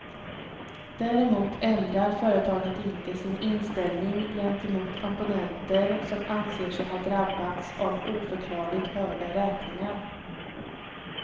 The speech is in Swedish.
Däremot ändrar företaget inte sin inställning gentemot abonnenter som anser sig ha drabbats av oförklarligt höga räkningar.